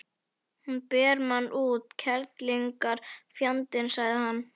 Hún ber mann út, kerlingarfjandinn, sagði hann.